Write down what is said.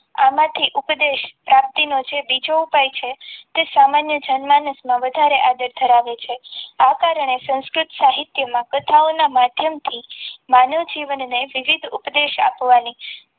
આમાંથી ઉપદેશ પ્રાપ્તિનો છે બીજો ઉપાય છે તે સામાન્ય જન્મમાં વધારે મહત્વ ધરાવે છે આચાર અને સંસ્કૃત સાહિત્યમાં કથાઓના માધ્યમથી માનવ જીવનને વિવિધ ઉપદેશ આપવાની